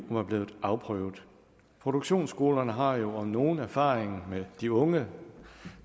var blevet afprøvet produktionsskolerne har jo om nogen erfaringen med de unge